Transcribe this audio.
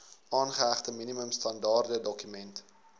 aangehegte minimum standaardedokument